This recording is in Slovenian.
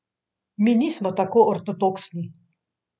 Mi nismo tako ortodoksni.